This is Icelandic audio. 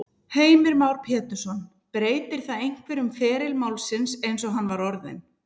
Heimir Már Pétursson: Breytir það einhverju um feril málsins eins og hann var orðinn?